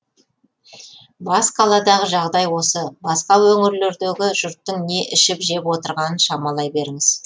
бас қаладағы жағдай осы басқа өңірлердегі жұрттың не ішіп жеп отырғанын шамалай беріңіз